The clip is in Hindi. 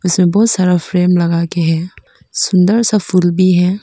बहुत सारा फ्रेम लगा के है सुंदर सा फूल भी है।